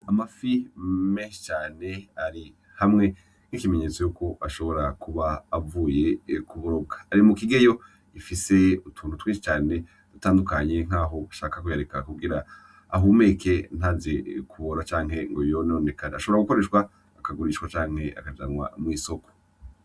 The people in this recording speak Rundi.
Amafi menshi cane ari hamwe n’ikimenyeto yuko ashobora kuba avuye kurobwa. Ari mukigeyo gifise utuntu twinshi cane dutandukanye nkaho bashaka kuyareka kugira ahumeke ntaze kubora canke ngo yononekare ,ashobora gukoreshwa akagurishwa canke akajanwa mw’isoko.